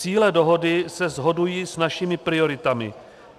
Cíle dohody se shodují s našimi prioritami.